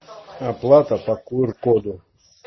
оплата по кр коду